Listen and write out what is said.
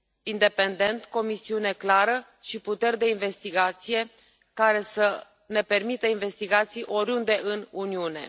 independent, cu o misiune clară și puteri de investigație care să ne permită investigații oriunde în Uniune.